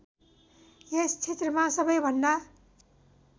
यस क्षेत्रमा सबैभन्दा